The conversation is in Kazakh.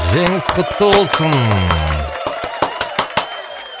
жеңіс құтты болсын